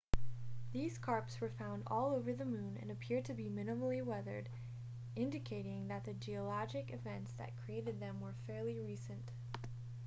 these scarps were found all over the moon and appear to be minimally weathered indicating that the geologic events that created them were fairly recent